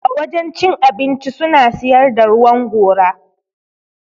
A wajen cin abinci suna siyar da ruwan gora.